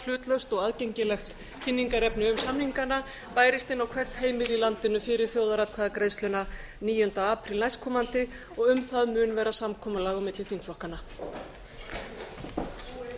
hlutlaust og aðgengilegt kynningarefni um samningana bærist inn á hvert heimili í landinu fyrir þjóðaratkvæðagreiðsluna níunda apríl næstkomandi og um það